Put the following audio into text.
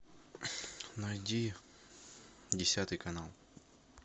найди десятый канал